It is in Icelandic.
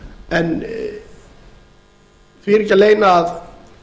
en því er ekki að leyna að